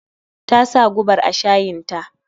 Tasa gubar a shayin ta